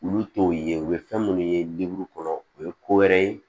Olu t'o ye u bɛ fɛn minnu ye kɔnɔ o ye ko wɛrɛ ye